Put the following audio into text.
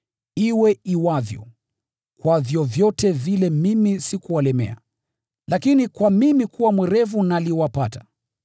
Iwe iwavyo, kwa vyovyote vile mimi sikuwalemea. Lakini kwa mimi kuwa mwerevu naliwapata.